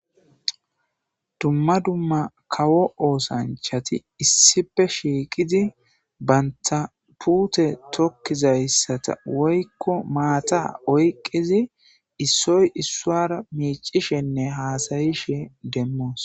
dumma dumma kawo oosanchati issipe shiiqidi banta pute tokkizayssata woykko maata oyqqizi issoy issuara miicishenne haasayishe demmoos